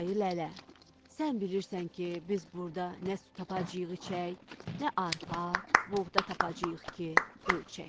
Ayı lələ, sən bilirsən ki, biz burda nə su tapacağıq içək, nə arpa, buğda tapacağıq ki, ölçək.